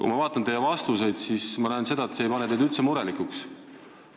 Kui ma vaatan teie vastuseid, siis ma näen seda, et see ei tee teid üldse murelikuks.